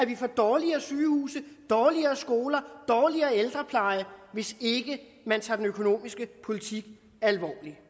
vi får dårligere sygehuse dårligere skoler dårligere ældrepleje hvis ikke man tager den økonomiske politik alvorligt vi